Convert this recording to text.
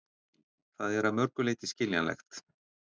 Það er að mörgu leyti skiljanlegt